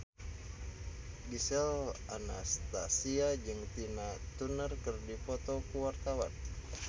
Gisel Anastasia jeung Tina Turner keur dipoto ku wartawan